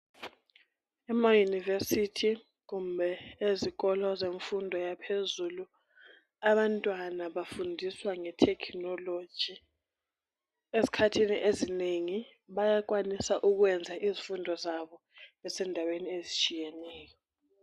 Emayunivesithi kumbe ezikolo zemfundo yaphezulu abantwana bafundiswa nge thekhinoloji. Izikhathini ezinengi, bayakwanisa ukuyenza izifundo zabo besendaweni ezitshiyeneyo.